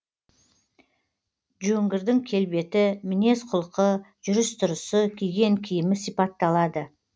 жөңгірдің келбеті мінез құлқы жүріс түрысы киген киімі сипатталады